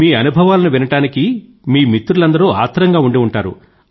మీ అనుభవాలను వినడానికి మీ మిత్రులందరూ ఆత్రంగా ఉండి ఉంటారు